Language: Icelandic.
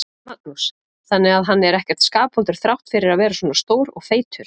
Magnús: Þannig að hann er ekkert skapvondur þrátt fyrir að vera svona stór og feitur?